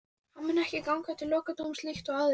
Hann mun ekki ganga til lokadómsins líkt og aðrir.